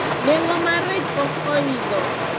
nengo mar rech pok oidho